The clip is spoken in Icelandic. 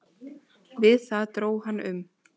Við það dró hann um.